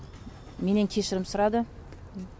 менен кешірім сұрады